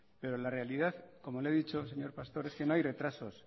pero la realidad como lo he dicho señor pastor es que no hay retrasos